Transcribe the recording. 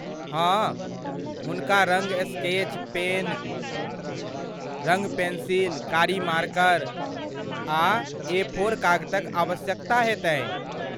हाँ, हुनका रङ्ग स्केच पेन, रङ्ग पेंसिल, कारी मार्कर आ एफोर कागतक आवश्यकता हेतनि।